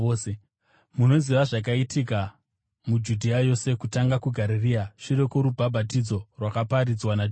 Munoziva zvakaitika muJudhea yose, kutanga kuGarirea shure kworubhabhatidzo rwakaparidzwa naJohani,